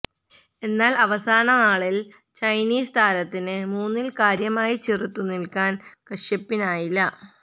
എന്നാല് അവസാന നാലില് ചൈനീസ് താരത്തിനു മൂന്നില് കാര്യമായി ചെറുത്തു നില്ക്കാന് കശ്യപിനായില്ല